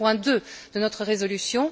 C'est le point 2 de notre résolution.